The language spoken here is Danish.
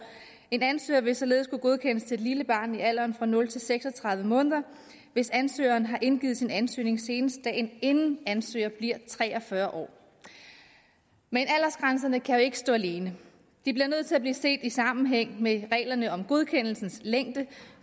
en ansøger vil således kunne godkendes til et lille barn i alderen nul seks og tredive måneder hvis ansøgeren har indgivet sin ansøgning senest dagen inden ansøger bliver tre og fyrre år men aldersgrænserne kan jo ikke stå alene de bliver nødt til at blive set i sammenhæng med reglerne om godkendelsens længde